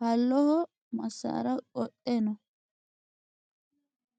haloho masaara qodhe no.